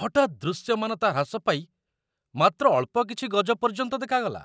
ହଠାତ୍ ଦୃଶ୍ୟମାନତା ହ୍ରାସ ପାଇ ମାତ୍ର ଅଳ୍ପ କିଛି ଗଜ ପର୍ଯ୍ୟନ୍ତ ଦେଖାଗଲା।